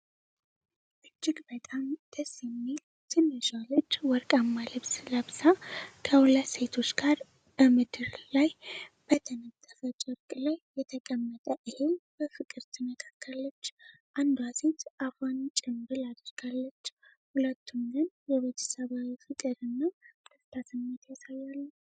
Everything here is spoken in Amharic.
እጅግ በጣም ደስ የሚል ትንሿ ልጅ ወርቃማ ልብስ ለብሳ፣ ከሁለት ሴቶች ጋር በምድር ላይ በተነጠፈ ጨርቅ ላይ የተቀመጠ እህል በፍቅር ትነካካለች። አንዷ ሴት አፏን ጭምብል አድርጋለች፤ ሁለቱም ግን የቤተሰባዊ ፍቅር እና ደስታ ስሜት ያሳያሉ።